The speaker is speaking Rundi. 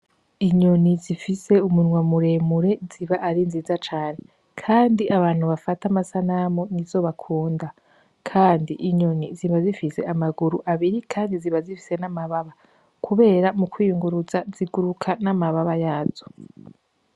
Inyoni zifise umunwa muremure ziba ari nziza cane kandi abantu bafata amsanamu n'izo bakunda kandi inyoni ziba zifise amaguru abiri kandi ziba zifise n'amababa. Kubera mu kwiyunguruza ziguruka n'amababa yazo.